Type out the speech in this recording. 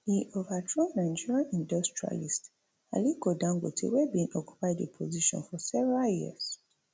e overthrow nigeria industrialist aliko dangote wey bin occupy di position for several years